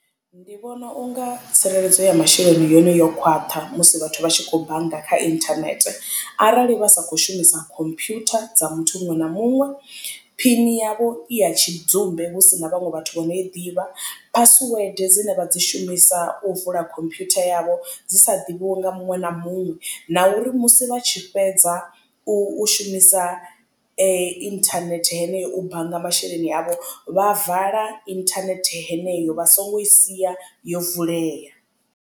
Ndi vhona unga tsireledzo ya masheleni yone yo khwaṱha musi vhathu vha tshi khou bannga kha internet arali vha sa kho shumisa computer dza muthu muṅwe na muṅwe phini yavho i ya tshidzumbe hu si na vhaṅwe vhathu vha no i ḓivha. Password dzine vha dzi shumisa u vula computer yavho dzi sa ḓivhiwe nga muṅwe na muṅwe na uri musi vha tshi fhedza u shumisa internet heneyo u bannga masheleni avho vha vala internet heneyo vha songo i sia yo vulea.